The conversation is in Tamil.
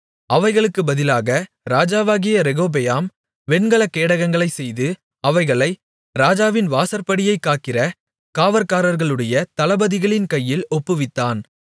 அவைகளுக்கு பதிலாக ராஜாவாகிய ரெகொபெயாம் வெண்கல கேடகங்களைச் செய்து அவைகளை ராஜாவின் வாசற்படியைக் காக்கிற காவற்காரர்களுடைய தளபதிகளின் கைகளில் ஒப்புவித்தான்